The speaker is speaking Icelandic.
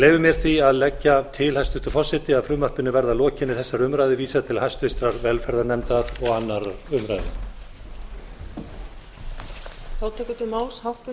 leyfi mér því að leggja til hæstvirtur forseti að frumvarpinu verði að lokinni þessari umræðu vísað til hæstvirtrar velferðarnefndar og annarrar umræðu